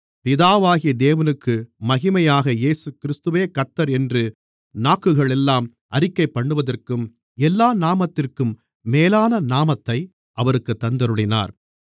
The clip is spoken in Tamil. பிதாவாகிய தேவனுக்கு மகிமையாக இயேசுகிறிஸ்துவே கர்த்தர் என்று நாக்குகளெல்லாம் அறிக்கைபண்ணுவதற்கும் எல்லா நாமத்திற்கும் மேலான நாமத்தை அவருக்குத் தந்தருளினார்